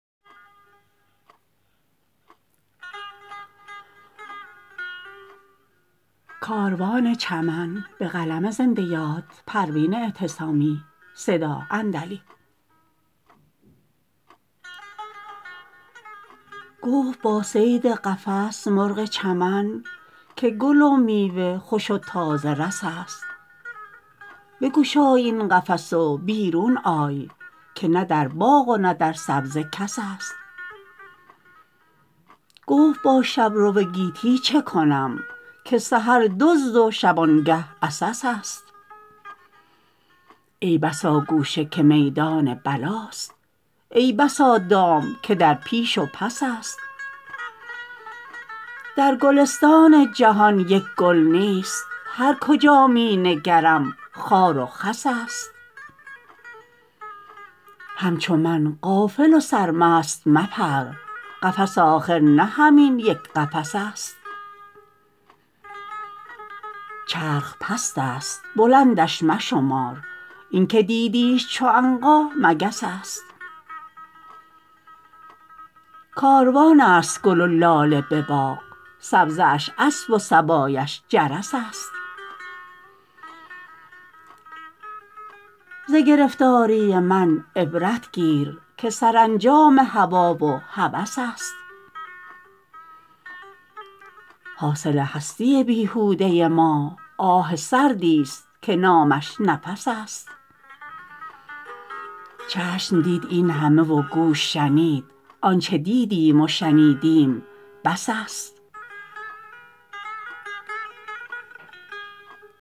گفت با صید قفس مرغ چمن که گل و میوه خوش و تازه رس است بگشای این قفس و بیرون آی که نه در باغ و نه در سبزه کس است گفت با شبرو گیتی چکنم که سحر دزد و شبانگه عسس است ای بسا گوشه که میدان بلاست ای بسا دام که در پیش و پس است در گلستان جهان یک گل نیست هر کجا مینگرم خار و خس است همچو من غافل و سرمست مپر قفس آخر نه همین یک قفس است چرخ پست است بلندش مشمار اینکه دیدیش چو عنقا مگس است کاروان است گل و لاله بباغ سبزه اش اسب و صبایش جرس است ز گرفتاری من عبرت گیر که سرانجام هوی و هوس است حاصل هستی بیهوده ما آه سردی است که نامش نفس است چشم دید این همه و گوش شنید آنچه دیدیم و شنیدیم بس است